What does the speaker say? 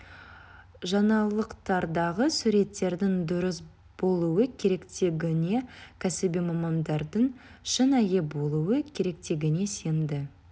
жаңалықтардағы суреттердің дұрыс болуы керектігіне кәсіби мамандардың шынайы болуы керектігіне сенді